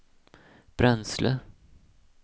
bränsle